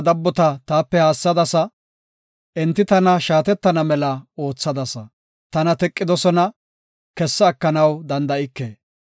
Neeni ta dabbota taape haassadasa; enti tana shaatettana mela oothadasa. Tana teqidosona; kessa ekanaw danda7ike.